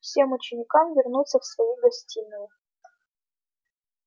всем ученикам вернуться в свои гостиные